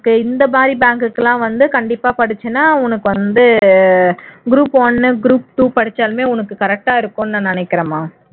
இந்த மாதிரி bank க்கு எல்லாம் வந்த கண்டிப்பா படிச்சீன்னா உனக்கு வந்து group one group two படிச்சாலுமே உனக்கு correct ஆ இருக்கும்னு நினைக்கிறேன்மா